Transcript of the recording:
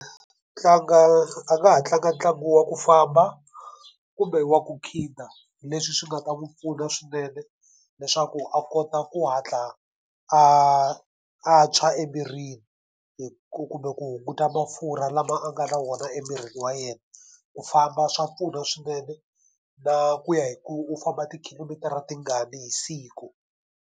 Tlanga a nga ha tlanga ntlangu wa ku famba, kumbe wa ku khida. Leswi swi nga ta n'wi pfuna swinene leswaku a kota ku hatla a a tshwa emirini ku kumbe ku hunguta mafurha lama a nga na wona emirini wa yena. Ku famba swa pfuna swinene na ku ya hi ku u famba tikhilomitara tingani hi siku.